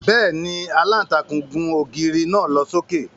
Bẹ́ẹ̀ni, Àlàntakùn gùn ógiri naa lo soke.